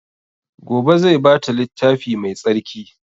Gobe zai ba ta littafi mai tsarki